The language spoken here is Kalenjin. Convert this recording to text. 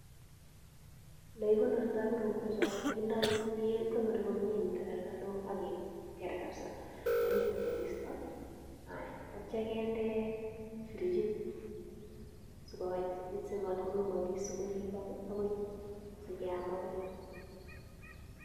Le kigonorto korotwechon ko kindo kigonori komye en takolkolishek ak keker kabisa simochut koristo ak kityo kinde frichit sigokaititit simat kong'emokis sikoribok agoi, sikeam agoi.